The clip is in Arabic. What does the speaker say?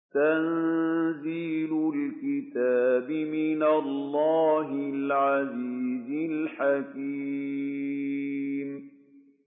تَنزِيلُ الْكِتَابِ مِنَ اللَّهِ الْعَزِيزِ الْحَكِيمِ